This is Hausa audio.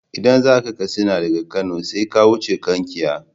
Idan zaka Katsina daga Kano sai ka wuce Kankia.